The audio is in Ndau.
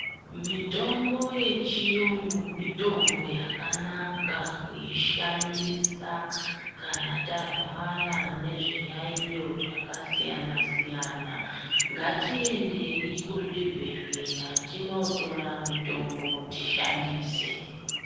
Mitombo yechiyungu mitombo yakanaka kuishandisa kana tarwara nezviyaiyo zvakasiyana siyana. Ngatiendei kuzvibhehleya tinotora mitombo tishandise.